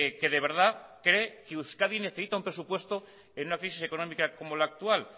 que de verdad cree que euskadi necesita un presupuesto en una crisis económica como la actual